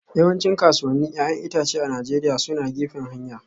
Yawancin kasuwannin 'ya'yan itace a Najeriya suna gefen hanya